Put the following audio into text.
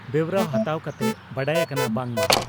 ᱵᱮᱣᱨᱟ ᱦᱟᱛᱟᱣ ᱠᱟᱛᱮ ᱵᱟᱰᱟᱭ ᱟᱠᱟᱱᱟ ᱵᱟᱟᱝ ᱢᱟ